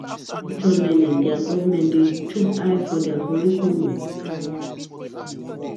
for structred learning di government dey chook eye for di curricullum